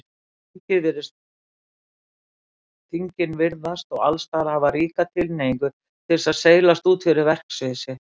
Þingin virðast og allsstaðar hafa ríka tilhneigingu til þess að seilast út fyrir verksvið sitt.